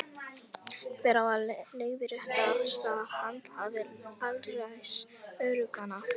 Hver á að leiðrétta æðsta handhafa alræðis öreiganna?